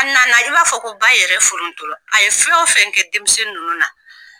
A nana i b'a fɔ ko ba yɛrɛ forontola a ye fɛn fɛn kɛ denmisɛnnin ninnu na